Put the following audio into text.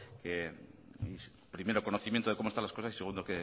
primero conocimiento de cómo están las cosas y segundo